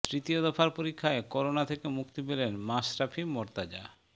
তৃতীয় দফার পরীক্ষায় করোনা থেকে মুক্তি পেলেন মাশরফি মোর্তাজা